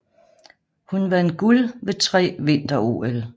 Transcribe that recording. Hun vandt guld ved tre Vinter OL